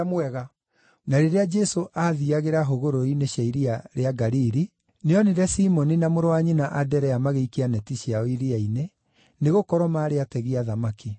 Na rĩrĩa Jesũ aathiiagĩra hũgũrũrũ-inĩ cia iria rĩa Galili, nĩonire Simoni na mũrũ wa nyina Anderea magĩikia neti ciao iria-inĩ, nĩgũkorwo maarĩ ategi a thamaki.